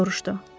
Soruşdu.